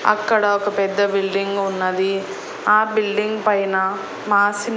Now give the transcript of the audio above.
అక్కడ ఒక పెద్ద బిల్డింగ్ ఉన్నది ఆ బిల్డింగ్ పైన మాసిన--